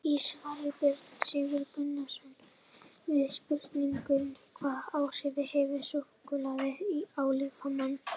Í svari Björns Sigurðar Gunnarssonar við spurningunni Hvaða áhrif hefur súkkulaði á líkamann?